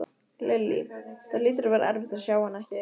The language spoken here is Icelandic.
Lillý: Það hlýtur að vera erfitt að sjá hana ekki?